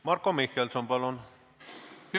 Marko Mihkelson, palun!